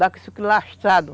Dá com isso aqui lastrado.